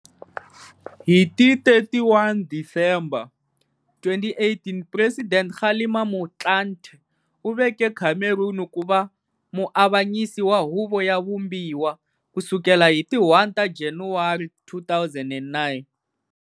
Hi ti 31 Disemba 2008 Presidente Kgalema Motlanthe u veke Cameron ku va muavanyisi wa Huvo ya Vumbiwa, ku sukela hi ti 1 ta Janawari 2009.